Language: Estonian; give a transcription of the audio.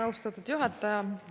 Austatud juhataja!